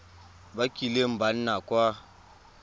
ba kileng ba nna kwa